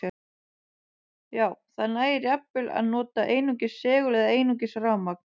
Já, það nægir jafnvel að nota einungis segul eða einungis rafmagn.